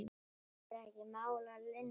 Er ekki mál að linni?